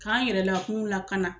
K'an yɛrɛ lakun lakana.